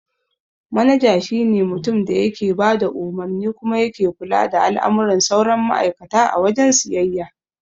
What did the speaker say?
Manaja shi ne mutumin da yake bada umarni kuma yake kula da al'amuran sauran ma'aikata a wajen siyayya.